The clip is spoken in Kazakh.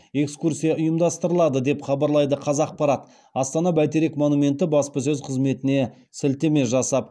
экскурсия ұйымдастырылады деп хабарлайды қазақпарат астана бәйтерек монументі баспасөз қызметіне сілтеме жасап